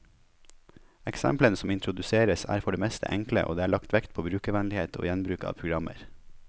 Eksemplene som introduseres, er for det meste enkle, og det er lagt vekt på brukervennlighet og gjenbruk av programmer.